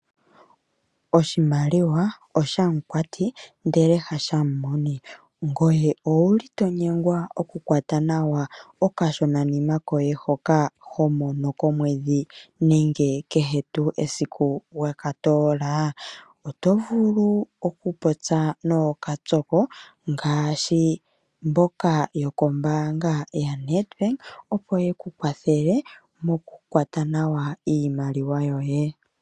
Oshimaliwa oshamukwati ndele hashamumoni. Ngoye owu li to nyengwa oku kwata nawa okashonanima koye hoka ho mono komwedhi nenge kehe tuu esiku we ka toola? Oto vulu oku popya nookapyoko ngaashi mboka yokombaanga yaNedbank opo ye ku kwathele mokukwata nawa iimaliwa yoye.